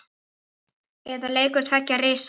Eða leikur tveggja risa?